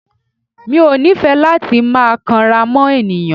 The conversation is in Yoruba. Mi ò nífẹ̀ẹ́ láti máa kanra mọ́ ènìyàn.